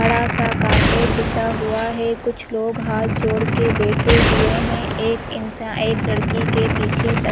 बड़ा- सा कारपेट बिछा हुआ है कुछ लोग हाथ जोड़ के बैठे हुए है एक इंसान एक लड़की के पीछे तक --